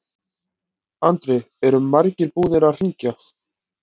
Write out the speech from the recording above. Andri: Eru margir búnir að hringja?